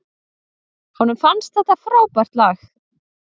Honum finnst þetta frábært lag.